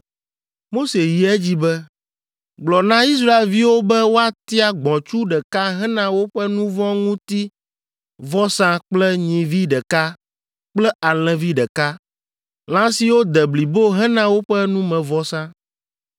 Mose yi edzi be, “Gblɔ na Israelviwo be woatia gbɔ̃tsu ɖeka hena woƒe nu vɔ̃ ŋuti vɔsa kple nyivi ɖeka kple alẽvi ɖeka, lã siwo de blibo hena woƒe numevɔsa.